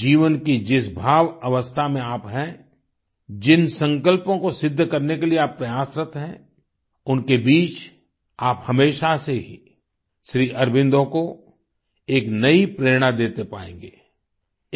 जीवन की जिस भाव अवस्था में आप हैं जिन संकल्पों को सिद्ध करने के लिए आप प्रयासरत हैं उनके बीच आप हमेशा से ही श्री अरबिंदो को एक नई प्रेरणा देते पाएंगें